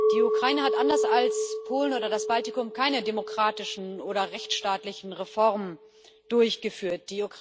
Die Ukraine hat anders als Polen oder das Baltikum keine demokratischen oder rechtsstaatlichen Reformen durchgeführt.